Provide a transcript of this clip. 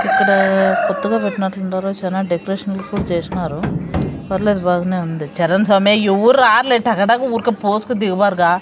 ఇక్కడ కొత్తగా పెట్టినట్టుండారు చానా డెకరేషన్ చేసినారు పర్లేదు బాగనే ఉంది.